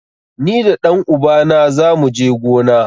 Ni da ɗan uba na zamu je gona.